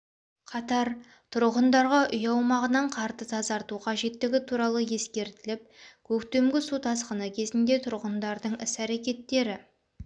қатар тұрғындарға үй аумағынан қарды тазарту қажеттігі туралы ескертіліп көктемгі су тасқыны кезінде тұрғындардың іс-әрекеттері